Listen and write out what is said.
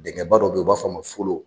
Denkɛ ba dɔ bɛ yen, u a b'a fɔ ma ko folon.